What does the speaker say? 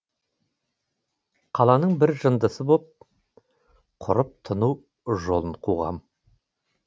қаланың бір жындысы боп құрып тыну жолын қуғам